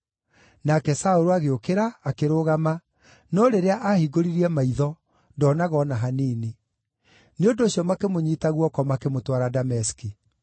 Nake Saũlũ agĩũkĩra, akĩrũgama, no rĩrĩa aahingũririe maitho ndoonaga o na hanini. Nĩ ũndũ ũcio makĩmũnyiita guoko makĩmũtwara Dameski.